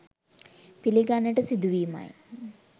පිළිගන්නට සිදුවීමයි.